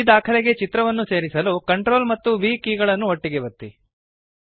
ಈ ದಾಖಲೆಗೆ ಚಿತ್ರವನ್ನು ಸೇರಿಸಲು CTRL ಮತ್ತು V ಕೀಲಿಗಳನ್ನು ಒಟ್ಟಿಗೆ ಒತ್ತಿರಿ